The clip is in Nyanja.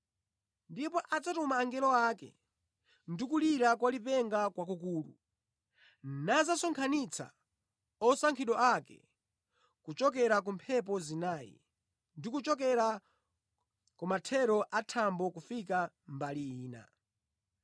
Ndipo adzatuma angelo ake, ndi kulira kwa lipenga kwakukulu, nadzasonkhanitsa osankhidwa ake kuchokera ku mphepo zinayi, ndi kuchokera kumathero a thambo kufika mbali ina.